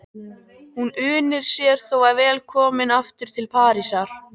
Hún unir sér þó vel komin aftur til Parísar.